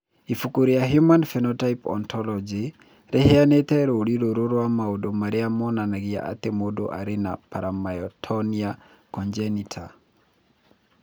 Ibuku rĩa Human Phenotype Ontology rĩheanĩte rũũri rũrũ rwa maũndũ marĩa monanagia atĩ mũndũ arĩ na Paramyotonia congenita.